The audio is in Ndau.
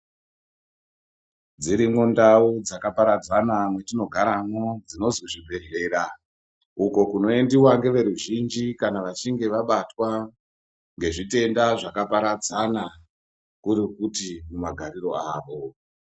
Dzirimwo ndau dzakaparadzana dzinonzi zvibhedhlera uko kunoendiwa neveruzhinji kana vachinge vabatwa nezvitenda zvakaparadzana kuri kuti mumagariro avo.